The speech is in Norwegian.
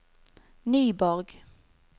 Nyborg